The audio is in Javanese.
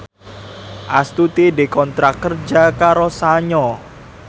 Astuti dikontrak kerja karo Sanyo